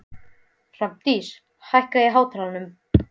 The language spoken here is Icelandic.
Hrafndís, hækkaðu í hátalaranum.